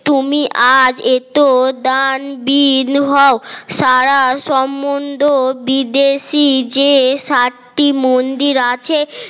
তুমি আজ এত দান দিন হোক সারা সম্বন্ধ বিদেশী যে সাতটি মন্দির আছে